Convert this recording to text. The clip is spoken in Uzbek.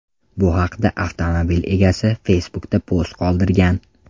Bu haqda avtomobil egasi Facebook’da post qoldirgan.